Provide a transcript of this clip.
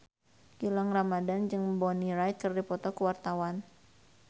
Gilang Ramadan jeung Bonnie Wright keur dipoto ku wartawan